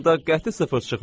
Onda qəti sıfır çıxmır.